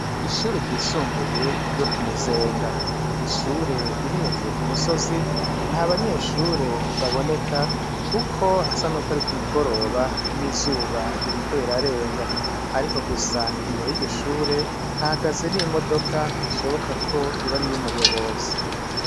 Ishure ryisumbuye ryo ku Muzenga. Ni ishure riri hejuru ku musozi, nta banyeshure baboneka kuko hasa nuko ari ku mugoroba n'izuba ririko rirarenga. Ariko gusa imbere y'iryo shure, hahagaze n'imodoka ishoboka ko yoba ari iy'umuyobozi.